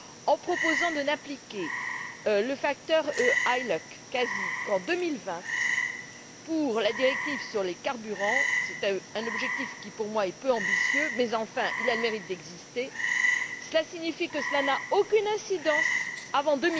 En proposant de n'appliquer le facteur ILUC CASI qu'en 2020 pour la directive sur les carburants c'est un objectif qui, pour moi, est peu ambitieux mais, enfin, il a le mérite d'exister cela signifie aucune incidence avant